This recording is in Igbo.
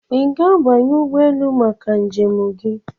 Ị ga-abanye ụgbọ elu maka njem gị?